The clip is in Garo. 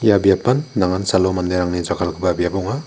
ia biapan nangan salo manderangni jakkalgipa biap ong·a.